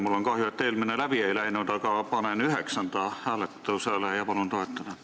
Mul on kahju, et eelmine läbi ei läinud, aga panen hääletusele üheksanda ja palun seda toetada.